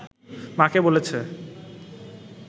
মাকে বলেছে